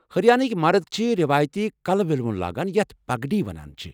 ہریانٔکۍ مرد چھِ روایتی کلہٕ ولِیوُن لاگان یتھ پگڈی وَنان چھِ ۔